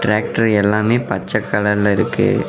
Factory எல்லாமே பச்ச கலர்ல இருக்கு.